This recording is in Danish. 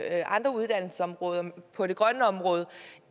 andre uddannelsesområder på det grønne område